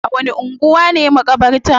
A wani anguwa ne makabartan?